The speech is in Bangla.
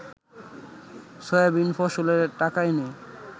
সয়াবিন ফসলের টাকা এনে